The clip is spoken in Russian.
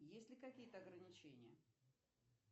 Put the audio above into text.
есть ли какие то ограничения